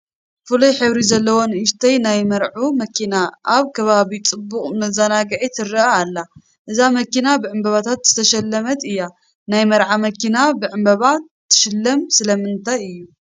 ፍሉይ ሕብሪ ዘለዋ ንኡሽተይ ናይ መርዑ መኪና ኣብ ከባቢ ፅቡቕ መዘናግኢ ትርአ ኣላ፡፡ እዛ መኪና ብዕንበባታት ዝተሸለመት እያ፡፡ ናይ መርዑ መኪና ብዕምበባ ትሽለም ስለምንታይ እዩ?